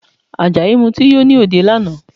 Àjàyí Mutí yó ní òde lánàá